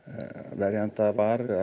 verjanda var